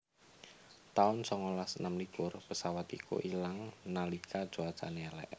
taun songolas enem likur pesawat iku ilang nalika cuacane elek